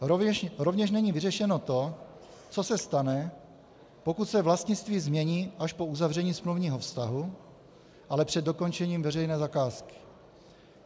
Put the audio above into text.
Rovněž není vyřešeno to, co se stane, pokud se vlastnictví změní až po uzavření smluvního vztahu, ale před dokončením veřejné zakázky.